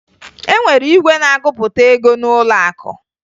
E nwere igwe na-agụpụta ego n'ụlọakụ